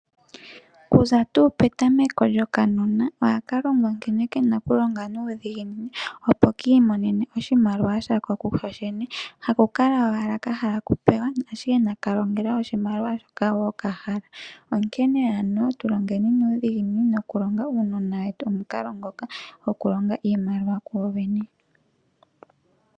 Kuza petameko lyokanona ohaka longwa nkene kena okulonga nuudhiginini, opo ke kiimonene oshimaliwa shako kokene haku kala ashike kahala okupewa. Onkene aavali oya pumbwa oku kumagidha uunona wawo wulonge nuudhiginini.